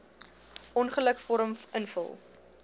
ongeluk vorm invul